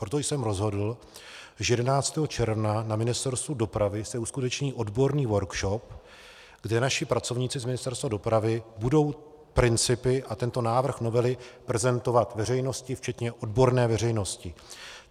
Proto jsem rozhodl, že 11. června na Ministerstvu dopravy se uskuteční odborný workshop, kde naši pracovníci z Ministerstva dopravy budou principy a tento návrh novely prezentovat veřejnosti včetně odborné veřejnosti.